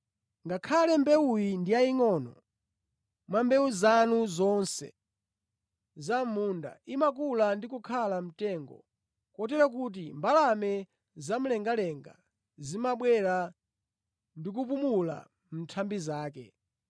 Ngakhale mbewuyi ndi yayingʼono mwa mbewu zanu zonse za mʼmunda, imakula ndi kukhala mtengo kotero kuti mbalame zamlengalenga zimabwera ndi kupumula mʼnthambi zake.”